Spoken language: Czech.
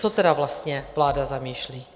Co tedy vlastně vláda zamýšlí?